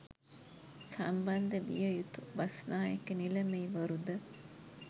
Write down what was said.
සම්බන්ධ විය යුතු බස්නායක නිලමේවරු ද